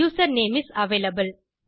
user name is available